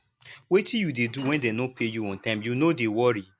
wetin you dey do when dey no pay you on time you no dey worry